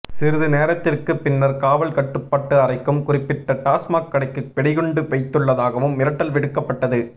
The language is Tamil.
சிறிது நேரத்திற்கு பின்னர் காவல் கட்டுப்பாட்டு அறைக்கும் குறிப்பிட்ட டாஸ்மாக் கடைக்கு வெடிகுண்டு வைத்துள்ளதாகவும் மிரட்டல் விடுக்கப்பட்டது